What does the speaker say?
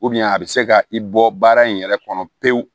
a bɛ se ka i bɔ baara in yɛrɛ kɔnɔ pewu